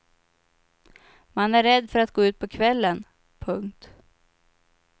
Man är rädd för att gå ut på kvällen. punkt